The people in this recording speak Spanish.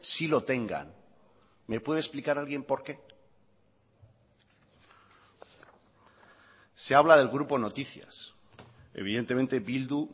sí lo tengan me puede explicar alguien por qué se habla del grupo noticias evidentemente bildu